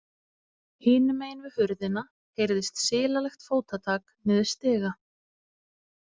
Hinum megin við hurðina heyrðist silalegt fótatak niður stiga.